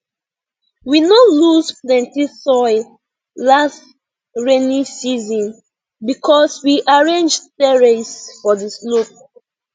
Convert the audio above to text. we no lose plenty soil last rainy season because we arrange terrace for di slope